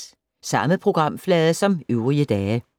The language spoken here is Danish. Samme programflade som øvrige dage